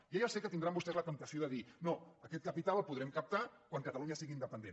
jo ja sé que tindran vostès la temptació de dir no aquest capital el podrem captar quan catalunya sigui independent